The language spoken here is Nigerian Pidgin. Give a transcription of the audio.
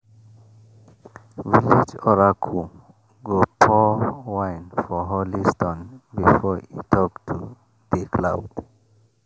village oracle go pour wine for holy stone before e talk to di cloud.